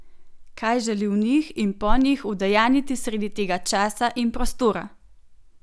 Kaj želi v njih in po njih udejanjiti sredi tega časa in prostora?